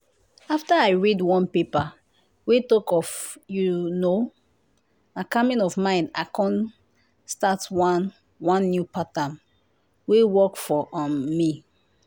after i read one paper wey talk of you know na calming of mind i come start one one new pattern wey work for um me.